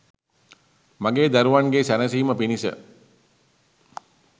මගේ දරුවන්ගේ සැනසීම පිණිස